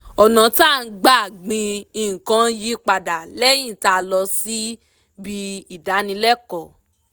ọ̀nà tá gbà gbìn nǹkan yí padà lẹ́yìn tá lọ síbi ìdánilẹ́kọ̀ọ́